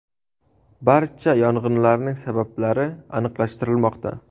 Barcha yong‘inlarning sabablari aniqlashtirilmoqda.